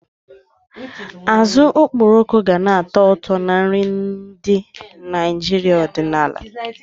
Azụ okporoko gana-atọ ụtọ na nri ndị Naijiria ọdịnala